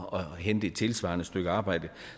og hente et tilsvarende stykke arbejde